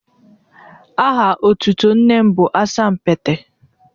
Aha otutu nne m bụ Asa meets.